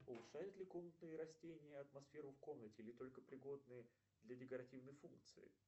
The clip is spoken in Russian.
улучшают ли комнатные растения атмосферу в комнате или только пригодны для декоративной функции